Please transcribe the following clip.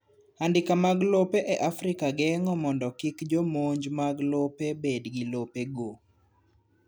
Andika mag lope e Afrika geng'o mondo kik jomonj mag lope bed gi lopego